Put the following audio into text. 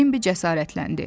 deyə Bambi cəsarətləndi.